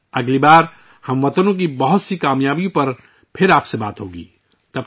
اگلی بار ہم ، آپ سے اپنے ہم وطنوں کی بہت سی کامیابیوں کے بارے میں پھر بات کریں گے